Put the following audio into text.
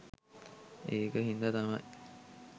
එක හින්දා තමයි